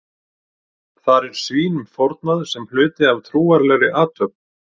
þar er svínum fórnað sem hluti af trúarlegri athöfn